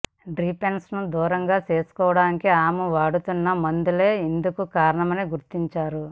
డ్రిపెషన్ను దూరం చేసుకోవడానికి ఆమె వాడుతున్న మందులే ఇందుకు కారణమని గుర్తించారు